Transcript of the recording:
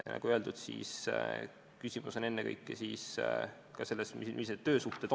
Nagu öeldud, küsimus on ennekõike selles, millised on töösuhted.